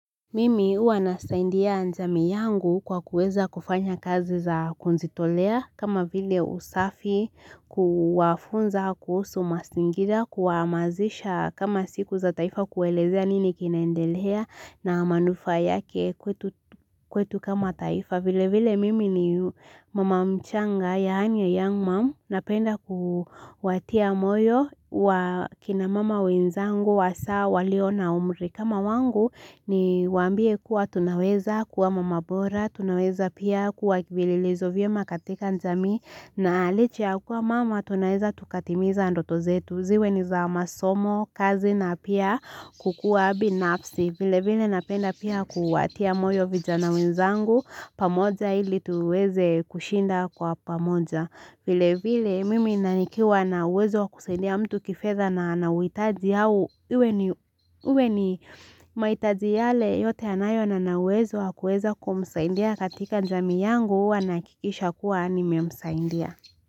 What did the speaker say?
Mimi huwa nasaidia jamii yangu kwa kuweza kufanya kazi za kujitolea kama vile usafi kuwafunza kuhusu mazingira kuhamasisha kama siku za taifa kueleza nini kinaendelea na manufaa yake kwetu kama taifa vile vile mimi ni mama mchanga ya hanyo young mom napenda kuwatia moyo kina mama winzangu wa saa walio na umri. Kama wangu niwaambie kuwa tunaweza kuwa mama bora, tunaweza pia kuwa vielelezo vyema katika jamii na licha ya kuwa mama tunaweza tukatimiza ndoto zetu. Ziwe ni za masomo kazi na pia kukuwa binafsi. Vile vile napenda pia kuwatia moyo vijana wenzangu, pamoja ili tuweze kushinda kwa pamoja. Vile vile, mimi na nikiwa na wezo kusaidia mtu kifedha na anauhitaji au, iwe ni mahitaji yale yote anayo na ninauwezo wa kueza kumsaidia katika jamii yangu, huwa nahakikisha kuwa nimemsaidia.